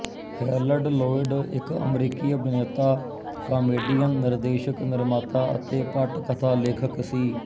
Herald Lloyd ਇੱਕ ਅਮਰੀਕੀ ਅਭਿਨੇਤਾ ਕਾਮੇਡੀਅਨ ਨਿਰਦੇਸ਼ਕ ਨਿਰਮਾਤਾ ਅਤੇ ਪਟਕਥਾ ਲੇਖਕ ਸੀ